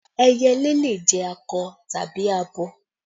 Ẹyẹlé le jẹ́ akọ tàbí abo